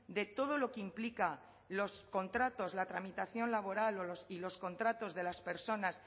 de todo lo que implica los contratos la tramitación laboral y los contratos de las personas